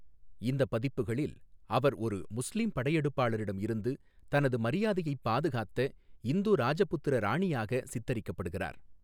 இந்த பதிப்புகளில், அவர் ஒரு முஸ்லீம் படையெடுப்பாளரிடம் இருந்து தனது மரியாதையைப் பாதுகாத்த இந்து ராஜபுத்திர ராணியாக சித்தரிக்கப்படுகிறார்.